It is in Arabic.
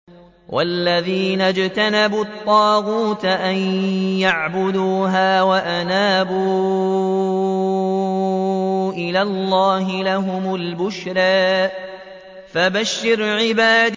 وَالَّذِينَ اجْتَنَبُوا الطَّاغُوتَ أَن يَعْبُدُوهَا وَأَنَابُوا إِلَى اللَّهِ لَهُمُ الْبُشْرَىٰ ۚ فَبَشِّرْ عِبَادِ